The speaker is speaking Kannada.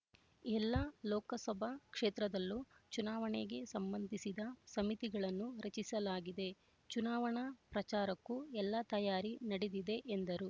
ಎಲ್ಲ ಲೋಕಸಭಾ ಕ್ಷೇತ್ರದಲ್ಲೂ ಚುನಾವಣೆಗೆ ಸಂಬಂಧಿಸಿದ ಸಮಿತಿಗಳನ್ನು ರಚಿಸಲಾಗಿದೆ ಚುನಾವಣಾ ಪ್ರಚಾರಕ್ಕೂ ಎಲ್ಲ ತಯಾರಿ ನಡೆದಿದೆ ಎಂದರು